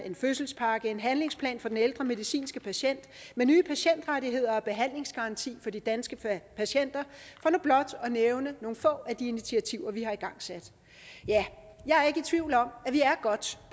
en fødselspakke en handlingsplan for den ældre medicinske patient nye patientrettigheder og behandlingsgaranti for de danske patienter for nu blot at nævne nogle få af de initiativer vi har igangsat jeg er ikke i tvivl om at vi er godt